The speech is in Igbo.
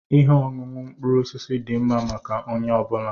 Ihe ọṅụṅụ mkpụrụ osisi dị mma maka onye ọ bụla.